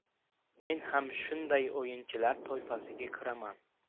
Men ham shunday o‘yinchilar toifasiga kiraman.